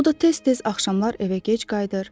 O da tez-tez axşamlar evə gec qayıdır.